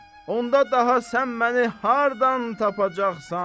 Onda daha sən məni hardan tapacaqsan?